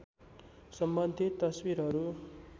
सम्बन्धित तस्वीरहरू